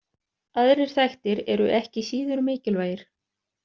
Aðrir þættir eru ekki síður mikilvægir.